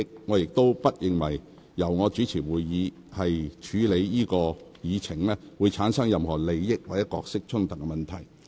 我亦不認為由我主持會議處理這議程項目，會產生任何利益或角色衝突問題。